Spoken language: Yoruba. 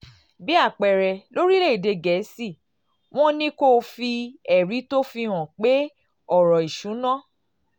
bí àpẹẹrẹ lórílẹ̀-èdè gẹ̀ẹ́sì wọ́n um ní kó o fi um ẹ̀rí tó fi hàn pé ọ̀rọ̀ ìṣúnná